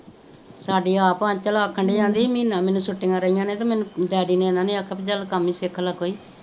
ਸਾਡੀ ਆਪ ਆਂਚਲ ਮੀਨਾ ਮੀਨਾ ਛੁਟੀਆਂ ਰਹੀਆਂ ਤੇ ਮੈਨੂੰ ਡੈਡੀ ਨੇ ਇਹਨਾ ਨੇ ਆਖੇਆ ਚੱਲ ਕਮ ਹੀ ਸਿਖ ਲੈ ਕੋਈ